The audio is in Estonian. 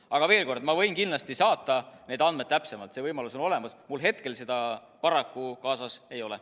Aga veel kord: ma võin kindlasti saata need täpsed andmed, see võimalus on olemas, mul hetkel seda paraku kaasas ei ole.